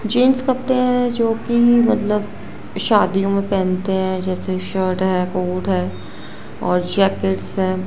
Gents कपड़े हैं जोकि मतलब शादीयों में पहनते हैं जैसे शॉर्ट है कोट है और जैकेट्स है।